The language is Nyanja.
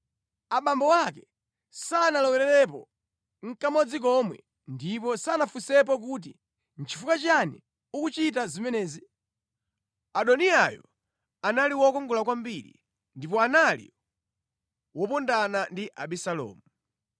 (Abambo ake sanalowererepo nʼkamodzi komwe ndipo sanafunsepo kuti, “Nʼchifukwa chiyani ukuchita zimenezi?” Adoniyayo anali wokongola kwambiri ndipo anali wopondana ndi Abisalomu).